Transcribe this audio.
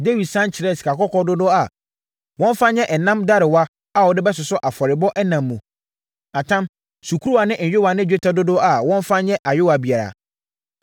Dawid sane kyerɛɛ sikakɔkɔɔ dodoɔ a wɔmfa nyɛ ɛnam darewa a wɔde bɛsosɔ afɔrebɔ ɛnam mu, atam, sukuruwa ne nyowaa ne dwetɛ dodoɔ a wɔmfa nyɛ ayowaa biara.